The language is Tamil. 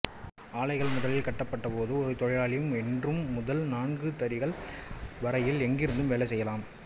ஆலைகள் முதலில் கட்டப்பட்டப்போது ஒரு தொழிலாளி ஒன்று முதல் நான்கு தறிகள் வரையில் எங்கிருந்தும் வேலைச் செய்யலாம்